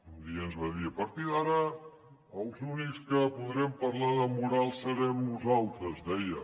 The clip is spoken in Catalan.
un dia ens va dir a partir d’ara els únics que podrem parlar de moral serem nosaltres deia